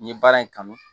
N ye baara in kanu